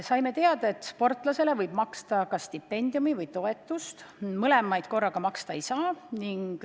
Saime teada, et sportlasele võib maksta kas stipendiumi või toetust, mõlemat korraga maksta ei saa.